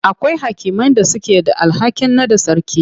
Akwai hakimai da suke da alhakin naɗa sarki.